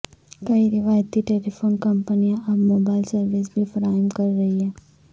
کئی روایتی ٹیلیفون کمپنیاں اب موبائل سروس بھی فراہم کر رہی ہیں